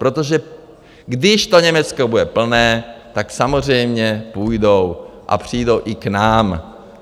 Protože když to Německo bude plné, tak samozřejmě půjdou a přijdou i k nám.